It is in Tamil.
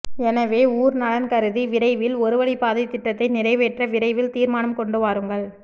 எனவே ஊர் நலன் கருதி விரைவில் ஒருவழி பாதை திட்டத்தை நிறைவேற்ற விரைவில் தீர்மானம் கொண்டு வாருங்கள்